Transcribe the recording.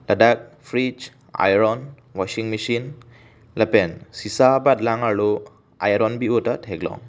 ladak fridge iron washing machine lapen sesa abatlang arlo iron bi o ta theklong.